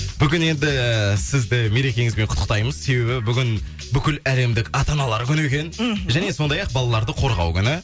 бүгін енді сізді мерекеңізбен құттықтаймыз себебі бүгін бүкіл әлемдік ата аналар күні екен мхм және сондай ақ балаларды қорғау күні